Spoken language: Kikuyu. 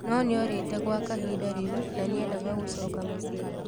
No nĩorĩte gwa kahinda rĩu na nĩendaga gũcoka mũciĩ.